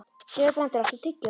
Sigurbrandur, áttu tyggjó?